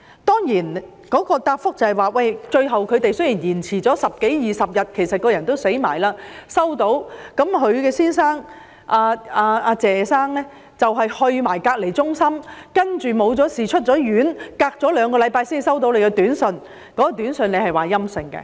當局答覆，最後出現了十多二十天的延誤，人亦已過身才收到短訊，她的丈夫謝先生亦已前往隔離中心，沒事出院後兩星期才接獲短訊，而短訊表示檢測結果為陰性。